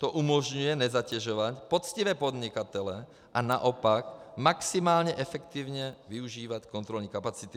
To umožňuje nezatěžovat poctivé podnikatele a naopak maximálně efektivně využívat kontrolní kapacity.